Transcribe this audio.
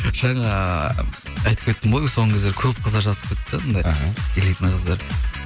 жаңа айтып кеттім ғой соңғы кездері көп қыздар жазып кетті да анандай іхі элитный қыздар